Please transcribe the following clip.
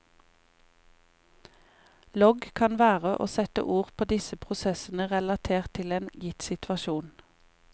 Logg kan være å sette ord på disse prosessene relatert til en gitt situasjon.